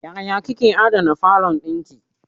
Yaya kika adana falon dinki.